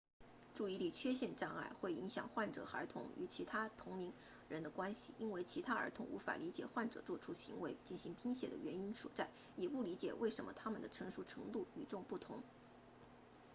注意力缺陷障碍 add 会影响患病孩童与其同龄人的关系因为其他儿童无法理解患者做出行为进行拼写的原因所在也不理解为什么他们的成熟程度与众不同